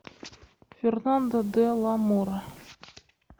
фернандо де ла мора